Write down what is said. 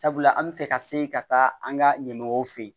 Sabula an bɛ fɛ ka se ka taa an ka ɲɛmɔgɔw fɛ yen